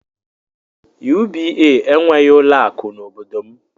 UBA enweghị ụlọ akụ n'obodo m.